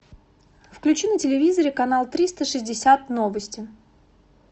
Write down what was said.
включи на телевизоре канал триста шестьдесят новости